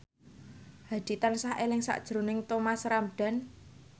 Hadi tansah eling sakjroning Thomas Ramdhan